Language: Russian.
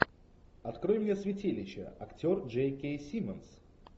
открой мне святилище актер джей кей симмонс